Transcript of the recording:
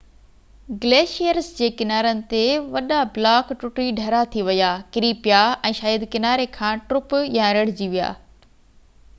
glaciers جي ڪنارن تي وڏا بلاڪ ٽٽي ڍرا ٿي ويا ڪري پيا ۽ شايد ڪناري کان ٽپ يا ريڙجي پيا